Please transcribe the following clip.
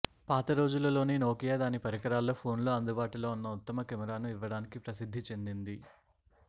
పాత రోజులలోని నోకియా దాని పరికరాల్లో ఫోన్లో అందుబాటులో ఉన్న ఉత్తమ కెమెరాను ఇవ్వడానికి ప్రసిద్ది చెందింది